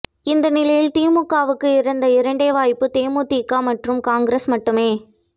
இந்நிலையில் திமுகவுக்கு இருந்த இரண்டே வாய்ப்பு தேமுதிக மற்றும் காங்கிரஸ் மட்டுமே